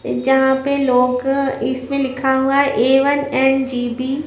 जहां पे लोग इसमें लिखा हुआ है ए वन एंड जी_बी --